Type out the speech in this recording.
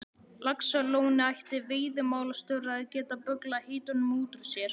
Laxalóni ætti veiðimálastjóri að geta bögglað heitunum út úr sér.